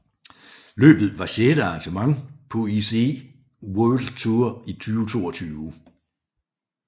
Løbet var sjette arrangement på UCI World Tour 2022